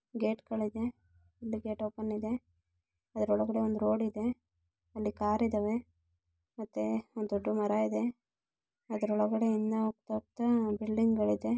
Gate ಗಳಿದೆ ಹಿಂದೆ gate open ಇದೆ. ಅದ್ರೊಳಗಡೆ ಒಂದ್ ರೋಡ್ ಇದೆ. ಅಲ್ಲಿ ಕಾರ್ ಇದ್ದಾವೆ ಮತ್ತೆ ಒಂದ್ ದೊಡ್ದು ಮರ ಇದೆ ಅದ್ರೊಳಗಡೆ ಇನ್ನಹೋಗ್ತ ಹೋಗ್ತ ಬಿಲ್ಡಿಂಗ್ ಗಳಿದೆ .